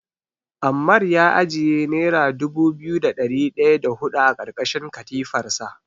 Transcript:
Ammar ya ajiye nera dubu biyu da ɗari ɗaya da huɗu a ƙarƙashin katifarsa.